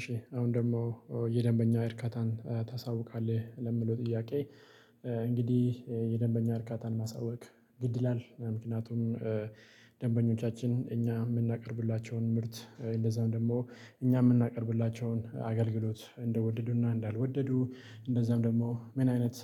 እሺ አሁን ደግሞ የደንበኛ እርካታን ታሳውቃለህ ለሚለው ጥያቄ። የደንበኛ እርካታን ማሳወቅ ግድ ይላል ምክንያቱም ደንበኞቻችን እኛ የምናቀርብላቸውን ምርት እንደዛም ደግሞ እኛ የምናቀርብላቸውን አገልግሎት እንደወደዱና እንዳልወደዱ እንደዛም ደግሞ ምን አይነት